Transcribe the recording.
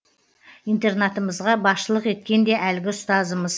интернатымызға басшылық еткен де әлгі ұстазымыз